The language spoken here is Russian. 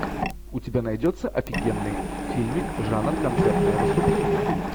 у тебя найдется офигенный фильмик жанр концертное выступление